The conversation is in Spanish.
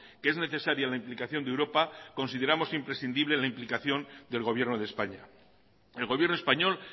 que es necesaria la implicación de europa consideramos imprescindible la implicación del gobierno de españa el gobierno español